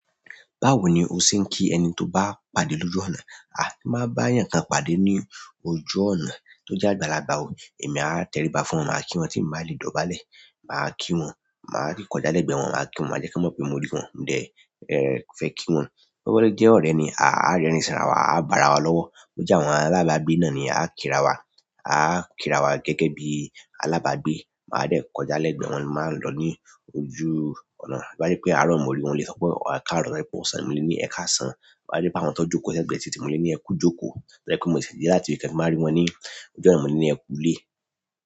Báwo ni o ṣe ń kí ẹni tó bá pàdé lóju ọ̀nà? A! Ti n ba ba'ayan kan pàdé ni ojú ọ̀nà to je àgbàlagbà o, emi a teriba fún won, maa ki won ti n ba le dọ̀bálẹ̀. Màá kí wọn, màá rín kọjá lẹ gbẹ wọn, máa kí wọn, máa jẹ kan mọ̀ pé mo rí wọn. Mi dẹ́ fẹ́ kí wọn. Bo bá lo jé ọ̀rẹ́ mi, a a rẹ́rin sára wa, a bá'ra wa lọ́wọ́. Bo jẹ́ àwọn alábàágbé náà ni, a kí ra wa, a kí ra wa gẹ́gẹ́ bí alábàágbé. Màá dẹ́ kọjá lẹ gbẹ wọn, máa lọ́ ní ojú ọ̀nà. Bo bá je pé àárọ̀ mo rí wọn, mo le sọ pé ẹkáàrọ̀, bo ba je p'osan ni, mo le ní ẹ káàsán. Bo bá je pé àwọn tó jókòó sẹ́gbẹ̀ẹ́ titi, mo le ní ẹ kú jókòó. To ba je pe mo se de láti ibi kan, ti máa rí wọn ní ojú ọ̀nà, mo ní ẹ kú lé.